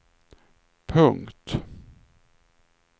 punkt